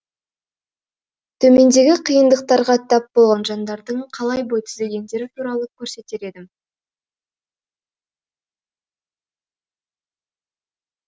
төмендегі қиындықтарға тап болған жандардың қалай бой түзегендері туралы көрсетер едім